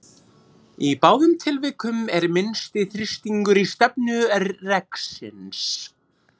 Í báðum tilvikum er minnsti þrýstingur í stefnu reksins.